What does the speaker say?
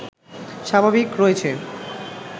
স্বাভাবিক রয়েছে